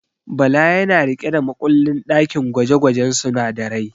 Bala yana riƙe da makullin ɗakin gwaje-gwajen sunadarai.